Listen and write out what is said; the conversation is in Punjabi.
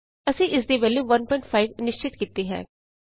ਅਸੀਂ ਇਸ ਦੀ ਵੈਲਯੂ 15 ਨਿਸ਼ਚਿਤ ਕੀਤੀ ਹੈ